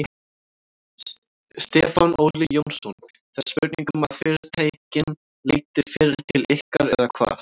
Stefán Óli Jónsson: Það er spurning um að fyrirtækin leiti fyrr til ykkar eða hvað?